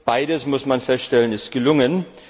Beides, muss man feststellen, ist gelungen.